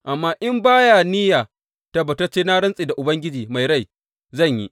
Amma in ba ya niyya, tabbatacce, na rantse da Ubangiji mai rai zan yi.